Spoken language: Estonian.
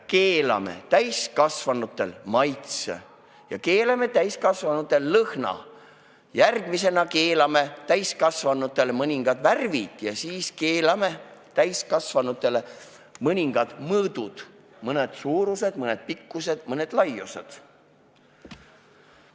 Keelame täiskasvanutele maitse ja keelame täiskasvanutele lõhna, järgmisena keelame täiskasvanutele mõningad värvid ja siis keelame täiskasvanutele mõningad mõõdud – mõned suurused, mõned pikkused, mõned laiused.